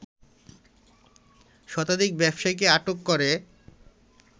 শতাধিক ব্যবসায়ীকে আটক করে